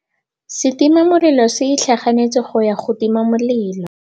Setima molelô se itlhaganêtse go ya go tima molelô.